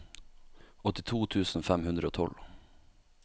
åttito tusen fem hundre og tolv